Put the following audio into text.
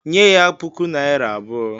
"Nye ya puku naira abụọ"